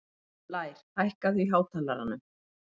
Blær, hækkaðu í hátalaranum.